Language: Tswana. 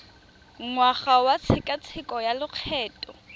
ngwaga wa tshekatsheko ya lokgetho